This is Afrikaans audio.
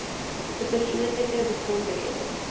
se persoonlike besonderhede